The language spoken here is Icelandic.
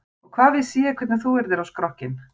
Og hvað vissi ég hvernig þú yrðir á skrokkinn.